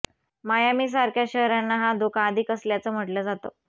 मायामीसारख्या शहरांना हा धोका अधिक असल्याचं म्हटलं जातं